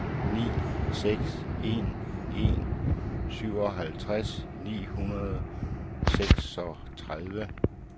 ni seks en en syvoghalvtreds ni hundrede og seksogtredive